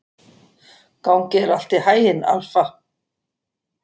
Gangi þér allt í haginn, Alfa.